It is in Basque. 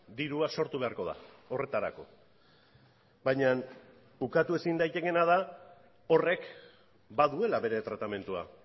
dirua sortu beharko da horretarako baina ukatu ezin daitekeena da horrek baduela bere tratamendua